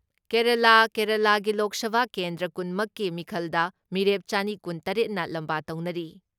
ꯀꯦꯔꯦꯂꯥꯥ ꯀꯦꯔꯦꯂꯥꯒꯤ ꯂꯣꯛ ꯁꯚꯥ ꯀꯦꯟꯗ꯭ꯔ ꯀꯨꯟ ꯃꯛꯀꯤ ꯃꯤꯈꯜꯗ ꯃꯤꯔꯦꯞ ꯆꯅꯤ ꯀꯨꯟ ꯇꯔꯦꯠꯅ ꯂꯝꯕꯥ ꯇꯧꯅꯔꯤ ꯫